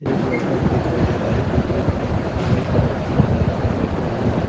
एक लड़का भी दिखाई दे रहा है जोकि अपने ब्लैक कलर की बाइक पर बैठा हुआ है।